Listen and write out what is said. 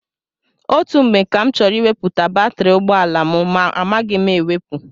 Ọtụtụ mgbe ka m chọrọ iweputa batiri ụgbọala m ma amaghị m ewepu.